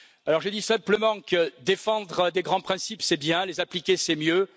Alors je dis simplement que défendre des grands principes, c'est bien, les appliquer, c'est mieux.